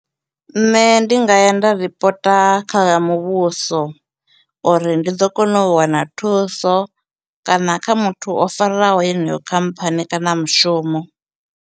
Nṋe ndi nga ya nda ripota kha muvhuso, uri ndi ḓo kona u wana thuso, kana kha muthu o farwaho yeneyo khamphani kana mushumo.